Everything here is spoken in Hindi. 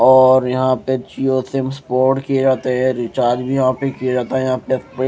और यहां पे जिओ सिम्स पोर्ट किए जाते हैं रिचार्ज भी वहां पे किया जाता है यहां पे पे--